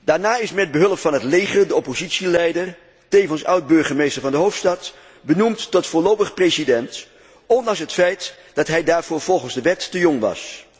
Daarna is met behulp van het leger de oppositieleider, tevens oud burgemeester van de hoofdstad, benoemd tot voorlopig president, ondanks het feit dat hij daarvoor volgens de wet te jong was.